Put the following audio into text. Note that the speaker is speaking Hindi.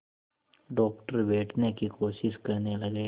डॉक्टर बैठने की कोशिश करने लगे